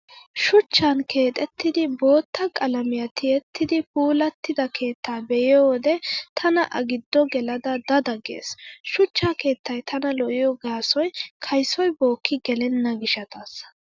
Shuchchan keexettidi bootta qalamiyaa tiyettidi puulattida keettaa be'iyo wode tana a giddo gelada da da gees. Shuchcha keettay tana lo'iyo gaasoy kaysoy bookki gelenna gishshataassa.